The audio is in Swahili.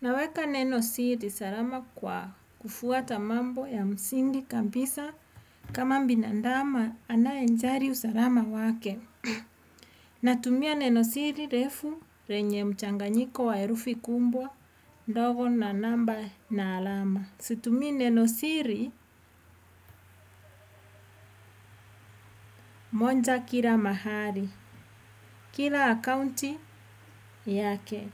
Naweka neno siri salama kwa kufuata mambo ya msingi kabisa kama binadamu anayejali usalama wake. Natumia neno siri refu lenye mchanganyiko wa herufi kubwa, ndogo na namba na alama. Situmii neno siri moja kila mahali. Kila akaunti, yake.